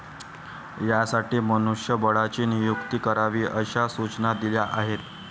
यासाठी मनुष्यबळाची नियुक्ती करावी अशा सूचना दिल्या आहेत.